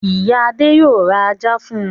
Ìyá Adé yóò ra ajá fún un.